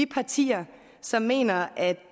partier som mener at